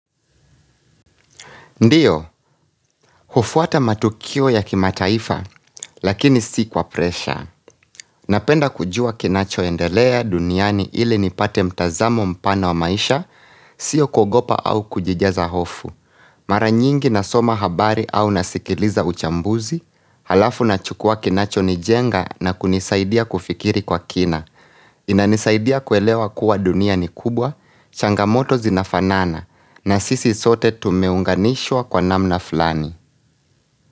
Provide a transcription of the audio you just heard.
Ndiyo, hufuata matukio ya kimataifa, lakini si kwa presha. Napenda kujua kinachoendelea duniani ili nipate mtazamo mpana wa maisha, sio kuogopa au kujijaza hofu. Mara nyingi na soma habari au nasikiliza uchambuzi, alafu na chukua kinacho nijenga na kunisaidia kufikiri kwa kina. Inanisaidia kuelewa kuwa duniani kubwa, changamoto zinafanana, na sisi sote tumeunganishwa kwa namna fulani.